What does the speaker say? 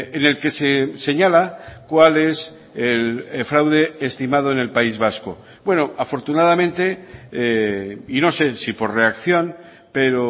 en el que se señala cuál es el fraude estimado en el país vasco bueno afortunadamente y no sé si por reacción pero